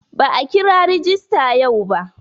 Ba'a kira rajista yau ba.